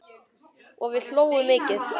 Og við hlógum mikið.